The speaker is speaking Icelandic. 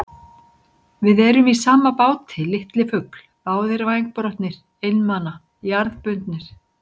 Við erum í sama báti, litli fugl, báðir vængbrotnir, einmana, jarðbundnir.